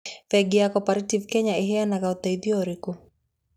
Bengi ya Cooperative Kenya ĩheanaga ũteithio ũrĩkũ?